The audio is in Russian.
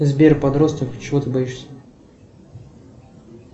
сбер подросток чего ты боишься